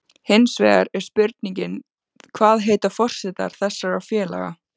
Hinsvegar er spurningin, hvað heitar forsetar þessara félaga?